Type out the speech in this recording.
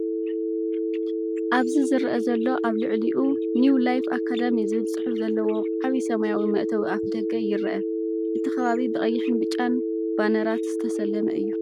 ኣብዚ ዝረአ ዘሎ ኣብ ልዕሊኡ “ኒው ላይፍ ኣካዳሚ” ዝብል ጽሑፍ ዘለዎ ዓቢ ሰማያዊ መእተዊ ኣፍደገ ይርአ። እቲ ከባቢ ብቀይሕን ብጫን ባነራት ዝተሰለመ እዩ።